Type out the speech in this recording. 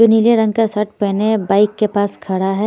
जो नीले रंग का शर्ट पहने बाइक के पास खड़ा है।